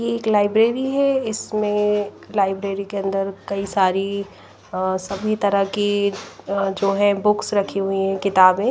एक लाइब्रेरी है इसमें लाइब्रेरी के अंदर कई सारी अ सभी तरह की अ जो है बुक्स रखी हुई है किताबें --